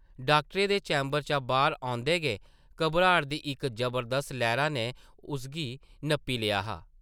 डाक्टरै दे चैंबर चा बाह्र औंदे गै घबराट दी इक जबरदस्त लैह्रा नै उसगी नप्पी लेआ हा ।